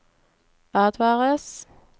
advares